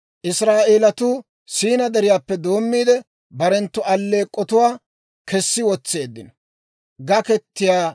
Israa'eelatuu Siinaa Deriyaappe doommiide barenttu alleek'k'otuwaa kessi wotseeddino.